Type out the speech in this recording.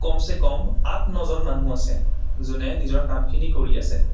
আঠ নজন মানুহ আছে যোনে নিজৰ কামখিনি কৰি আছে।